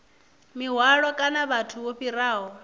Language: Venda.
mihwalo kana vhathu vho fhiraho